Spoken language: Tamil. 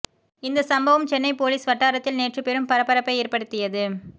இந்த சம்பவம் சென்னை போலீஸ் வட்டாரத்தில் நேற்று பெரும் பரபரப்பை ஏற்படுத்தியது